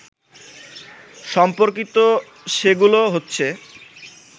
সম্পর্কিত সেগুলো হচ্ছে